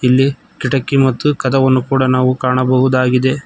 ಇಲ್ಲಿ ಕಿಟಕಿ ಮತ್ತು ಕದವನ್ನು ಕೂಡ ನಾವು ಕಾಣಬಹುದಾಗಿದೆ.